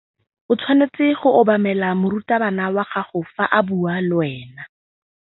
O tshwanetse go obamela morutabana wa gago fa a bua le wena.